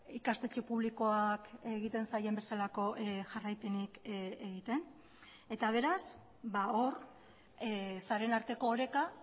ikastetxe publikoak egiten zaien bezalako jarraipenik egiten eta beraz hor sareen arteko oreka